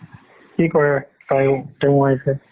কি কৰে তাৰো তেওঁৰ wife এ